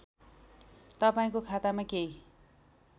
तपाईँको खातामा केही